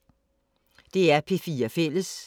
DR P4 Fælles